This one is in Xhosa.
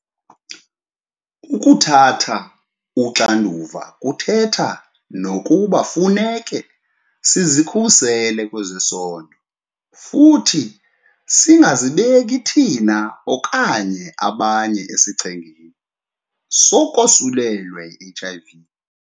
Ukuthatha uxanduva kuthetha nokuba kufuneka sizikhusele kwezesondo futhi singazibeki thina okanye abanye esichengeni sokosulelwa yi-HIV .